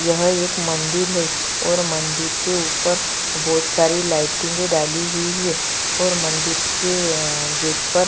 यह एक मंदिर है और मंदिर के ऊपर बहुत सारी लाइटिंगे डली हुई है और मंदिर के अ गेट पर--